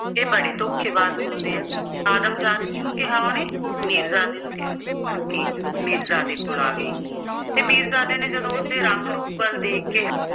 ਇਹ ਬੜੇ ਧੋਖੇਬਾਜ਼ ਹੁੰਦੇ ਆ। ਆਦਮਜਾਤ ਕਿਹਨੂੰ ਕਿਹਾ ਉਹਨੇ ਮੀਰਜ਼ਾਦੇ ਨੂੰ ਕਿਹਾ ਕਰਕੇ ਮੀਰਜ਼ਾਦੇ ਕੋਲ ਆ ਗਈ ਤੇ ਮੀਰਜ਼ਾਦੇ ਨੇ ਜਦੋਂ ਉਸਦੇ ਰੰਗ-ਰੂਪ ਵੱਲ ਵੇਖ ਕੇ